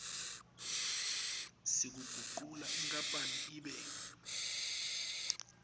sekugucula inkapani ibe